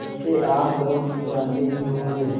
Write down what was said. इसे आप लोग जानते ही होंगे